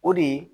O de ye